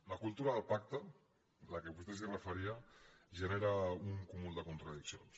la cultura del pacte a què vostè es referia genera un cúmul de contradiccions